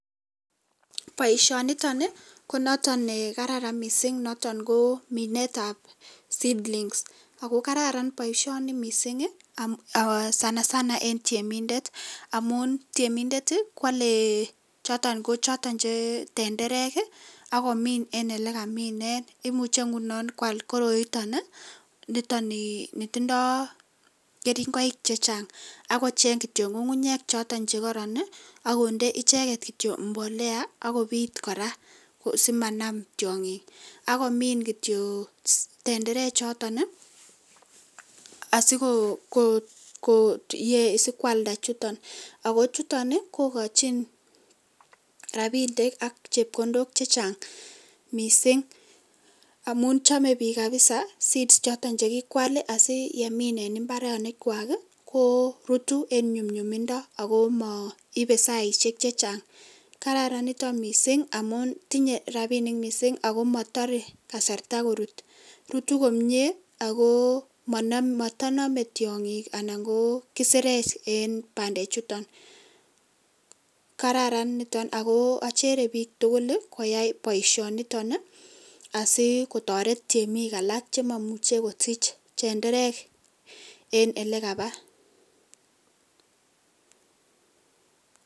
boisiyenitok konotok ne gararan missing ne kimine seedlings ago kararan missing sana sana eng tiemindet amun tiemindet koale tenderek agomin en ole gimine ,imuche kwal goroitok ne tindoi keringoik chechang agocheng ngungunyek choto che gararan agonde mbolea agobit kora simanam tiongik si kwalnda chutok .amun chome biik seeds choto cheale amun rutun en nyumnyumindo ,achere biik tugul komiin chutok si komuch kotaret tiemik alak chememuche kusich tenderek ang olekaba